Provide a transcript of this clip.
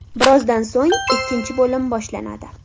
Birozdan so‘ng ikkinchi bo‘lim boshlanadi.